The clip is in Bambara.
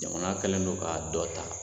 Jamana kɛlen don k'a dɔ ta